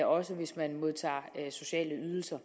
også hvis man modtager sociale ydelser